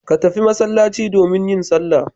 Ka tafi masallaci domin yin sallah.